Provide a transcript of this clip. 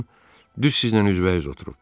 Baxın, düz sizin üzbəüz oturub.